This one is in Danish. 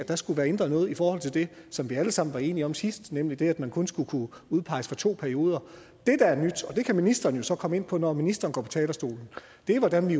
der skulle være ændret noget i forhold det som vi alle sammen var enige om sidst nemlig det at man kun skulle kunne udpeges for to perioder det der er nyt og det kan ministeren jo så komme ind på når ministeren går på talerstolen er hvordan vi